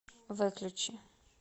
выключи